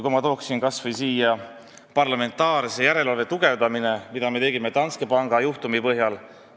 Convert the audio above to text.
Ma toon esile kas või parlamentaarse järelevalve tugevdamise, mida me tegime Danske panga juhtumi põhjal.